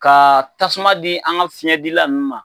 Ka tasuma di an ka fiɲɛdi la nunnu.